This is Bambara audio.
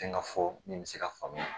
Fɛn ka fɔ nin bɛ se ka faamuya